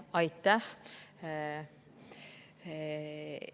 Aitäh!